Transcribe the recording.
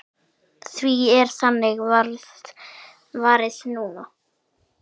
Því er þannig varið núna.